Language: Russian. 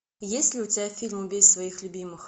есть ли у тебя фильм убей своих любимых